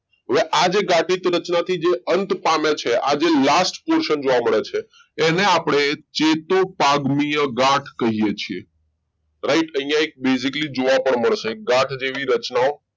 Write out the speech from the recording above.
કે આજે ગાંઠ રચના જે અંત અંત પામે છે જે આ last પોશાક જોવા મળે છે એને આપણે ચેતોપાગનીય ગાંઠ કહીએ છીએ right અહીંયા એક basically જોવા પણ મળશે ગાંઠ જેવી રચનાઓ